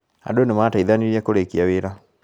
Andũ nĩmateithanirie kũrĩkia wĩra